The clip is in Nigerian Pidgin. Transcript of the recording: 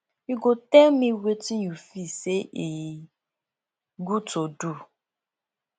you go tell me wetin you feel say e good to do